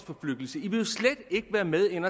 en